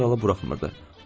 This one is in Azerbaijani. ölkə generalı buraxmırdı.